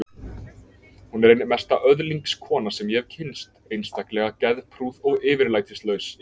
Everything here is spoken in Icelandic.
Hún er ein mesta öðlingskona sem ég hef kynnst, einstaklega geðprúð og yfirlætislaus.